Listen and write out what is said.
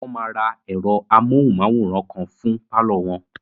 Wọ́n máa ra ẹ̀rọ amóhùnmáwòrán kan fún pálọ̀ wọn